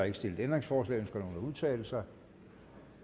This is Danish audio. ikke stillet ændringsforslag ønsker nogen at udtale sig